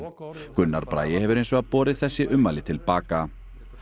Gunnar Bragi hefur hins vegar borið þessi ummæli til baka